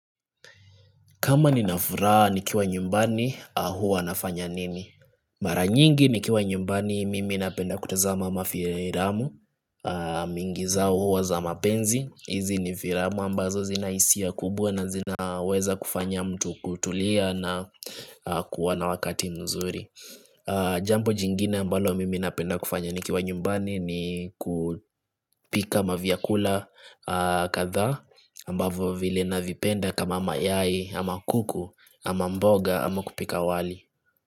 Kama ninafuraha nikiwa nyumbani, huwa nafanya nini? Mara nyingi nikiwa nyumbani mimi napenda kutazama mafilamu mingi zao huwa za mapenzi, hizi nifilamu ambazo zina hisia kubwa na zinaweza kufanya mtu kutulia na kuwa na wakati mzuri Jambo jingine ambalo mimi napenda kufanya nikiwa nyumbani ni kupika mavyakula kadhaa ambavyo vile navipenda kama mayai ama kuku ama mboga ama kupika wali.